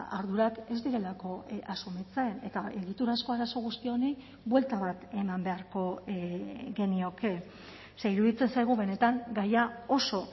ardurak ez direlako asumitzen eta egiturazko arazo guzti honi buelta bat eman beharko genioke ze iruditzen zaigu benetan gaia oso